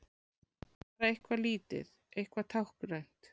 Bara eitthvað lítið, eitthvað táknrænt.